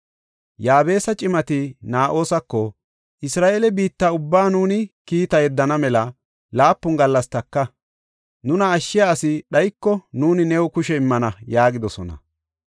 Yaabesa cimati Naa7osako, “Isra7eele biitta ubbaa nuuni kiita yeddana mela laapun gallas taka; nuna ashshiya asi dhayiko nuuni new kushe immana” yaagidosona.